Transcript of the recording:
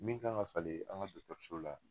Min ka kan ka falen an ka dɔgɔtɔrɔso la.